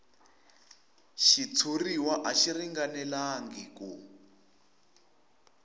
xitshuriwa a xi ringanelangi ku